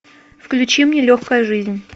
включи мне легкая жизнь